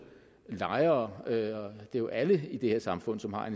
lejere lejere ja alle i det her samfund som har